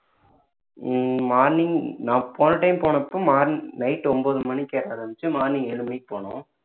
ஹம் morning நான் போன time போனப்போ மார்ன்~ night ஒன்பது மணிக்கு ஏற ஆரம்பிச்சு morning ஏழு மணிக்கு போனோம்